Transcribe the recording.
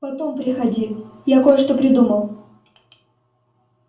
потом приходи я кое-что придумал